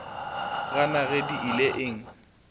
gana ge di ile eng